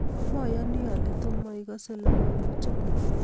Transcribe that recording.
Mayani ale toma igase logoywek chok